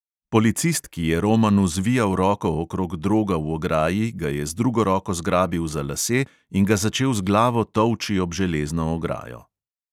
Policist, ki je romanu zvijal roko okrog droga v ograji, ga je z drugo roko zgrabil za lase in ga začel z glavo tolči ob železno ograjo.